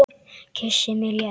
Kyssir mig létt.